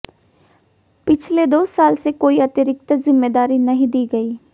पिछले दो साल से कोई अतिरिक्त जिम्मेदारी नहीं दी गई